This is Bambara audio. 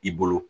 I bolo